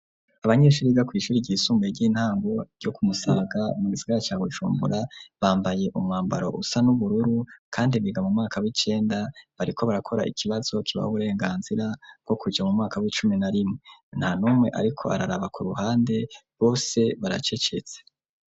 Abanyeshuri, biga kw’ishuri ryisumbuye, ry'intango, ryo ku Musaga, mu gisigara ca Bujumbura; bambaye umwambaro, usa n'ubururu, kandi biga, mu mwaka w'icenda; bariko barakora, ikibazo kibaha uburenganzira, bwo kuja mu mwaka w'icumi na rimwe; nta n'umwe, ariko araraba ku ruhande, bose baracecetse.